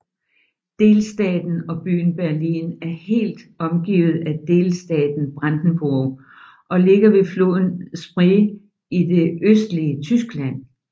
Delstaten og byen Berlin er helt omgivet af delstaten Brandenburg og ligger ved floden Spree i det østlige Tyskland